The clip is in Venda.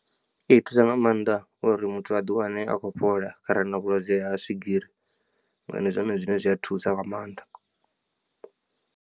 I thusa nga maanḓa uri muthu a di wane a khou fhola kharali a na vhulwadze ha swigiri ndi zwone zwine zwi a thusa nga maanḓa.